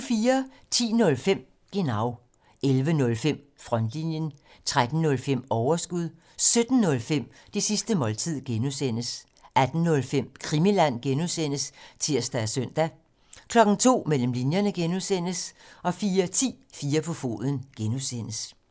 10:05: Genau 11:05: Frontlinjen 13:05: Overskud 17:05: Det sidste måltid (G) 18:05: Krimiland (G) (tir og søn) 02:00: Mellem linjerne (G) 04:10: 4 på foden (G)